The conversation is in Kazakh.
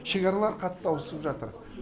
шекаралары қатты ауысып жатыр